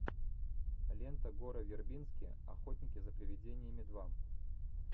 лента гора вербински охотники за привидениями два